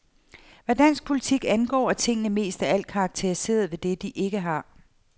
Hvad dansk politik angår, er tingene mest af alt karakteriseret ved det, vi ikke har.